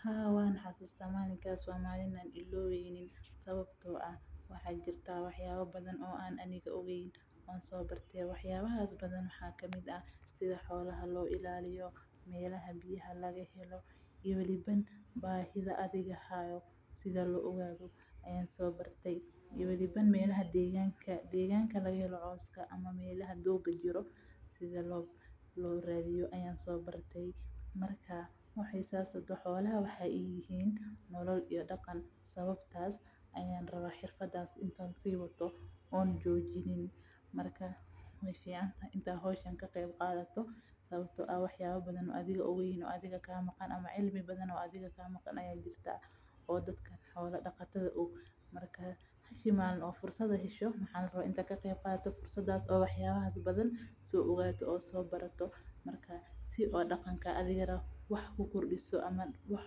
Haa waan xasuusta malintaas mailowi karo sababta oo ah waxaan soo barte wax yaaba badan sida loo raaco meelaha biya laga siiyo iyo deeganka lolaga helo cooska xolaha waxeey uyihiin nolol mana dayni rabi waxaa fican inaad soo barato si daqanka aad wax ku kordiso ama wax